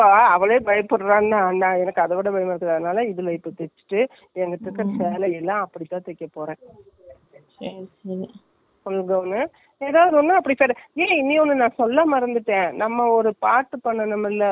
கொஞ்சமே, ஏதாவது ஒண்ணுன்னா, ஏ இன்னொன்னு நான் சொல்ல மறந்துட்டேன். நம்ம ஒரு பாட்டு பன்னோமில்ல அதாவது.அது எந்த பாட்டுல தெரில எல்லாரும் சுத்தி கை, கை புடிச்சிட்டுலாம்கிழ சுத்துவோம்.அதுல